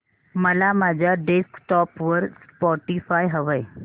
मला माझ्या डेस्कटॉप वर स्पॉटीफाय हवंय